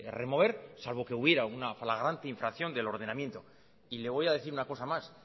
remover salvo que hubiera una flagrante infracción del ordenamiento y le voy a decir una cosa más